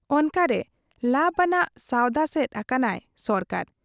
ᱚᱱᱠᱟᱨᱮ ᱞᱟᱵᱽ ᱟᱱᱟᱜ ᱥᱟᱶᱫᱟ ᱥᱮᱫ ᱟᱠᱟᱱᱟᱭ ᱥᱚᱨᱠᱟᱨ ᱾